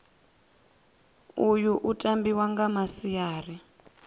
uyu u tambiwa nga masiari